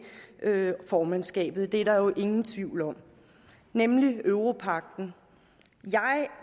formandskabet det er der jo ingen tvivl om nemlig europagten